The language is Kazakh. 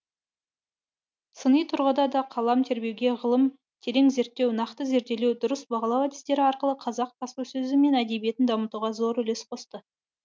сыни тұрғыда да қалам тербеген ғылым терең зерттеу нақты зерделеу дұрыс бағалау әдістері арқылы қазақ баспасөзі мен әдебиетін дамытуға зор үлес қосты